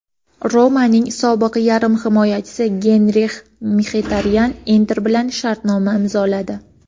"Roma"ning sobiq yarim himoyachisi Genrix Mxitaryan "Inter" bilan shartnoma imzoladi.